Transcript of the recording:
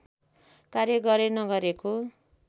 कार्य गरे नगरेको